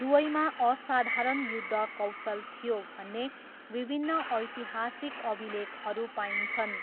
दुवैमा असाधारण युद्ध कौशल थियो भन्ने विभिन्न ऐतिहासिक अभिलेखहरू पाइन्छन्।